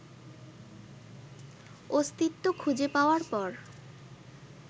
অস্তিত্ব খুঁজে পাওয়ার পর